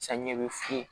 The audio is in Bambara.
Samiya bɛ funu